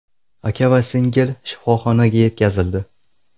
Aka va singil shifoxonaga yetkazildi.